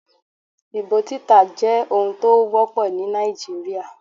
Ìbò títà jẹ́ ohun tó wọ́pọ̀ ní Nàìjíríà.